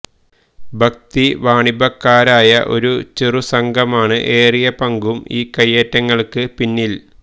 ഭക്തിവാണിഭക്കാരായ ഒരു ചെറു സംഘമാണ് ഏറിയപങ്കും ഈ കൈയേറ്റങ്ങൾക്ക് പിന്നിൽ